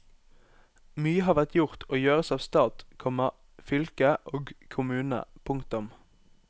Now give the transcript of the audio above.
Mye har vært gjort og gjøres av stat, komma fylke og kommune. punktum